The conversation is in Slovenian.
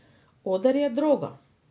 Oder je droga.